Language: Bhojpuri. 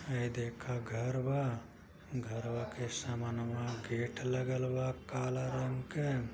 ह ई देखा घर बा। घरबा के सामनवा गेट लगालबा काला रंग के --